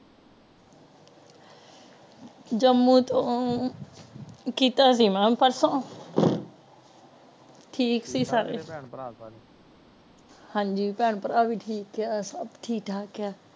jammu ਤੋਂ ਕੀਤਾ ਸੀ ਮੇਂ ਪਰਸੋ ਠੀਕ ਸੀ ਸਾਰੇ ਠੀਕ ਨੇ ਪੈਣ ਪਰਾ ਸਾਰੇ ਹਾਂਜੀ ਪੈਣ ਪਰਾ ਵੀ ਠੀਕ ਆ ਸਬ ਠੀਕ ਠਾਕ ਆ